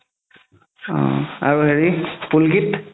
অ আৰু হেৰি পুলকিত